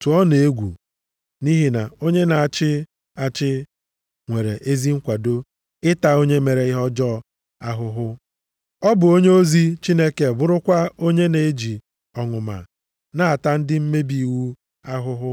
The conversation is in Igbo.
tụọnụ egwu, nʼihi na onye na-achị achị nwere ezi nkwado ịta onye mere ihe ọjọọ ahụhụ. Ọ bụ onyeozi Chineke bụrụkwa onye na-eji ọnụma na-ata ndị mmebi iwu ahụhụ.